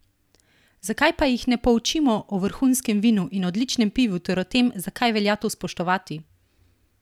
Zakaj pa jih ne poučimo o vrhunskem vinu in odličnem pivu ter o tem, zakaj velja to spoštovati?